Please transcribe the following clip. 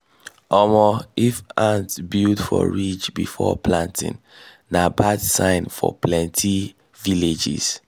um if ants build for ridge before planting na bad sign for plenty villages